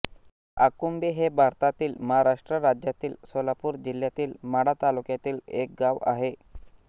आकुंभे हे भारतातील महाराष्ट्र राज्यातील सोलापूर जिल्ह्यातील माढा तालुक्यातील एक गाव आहे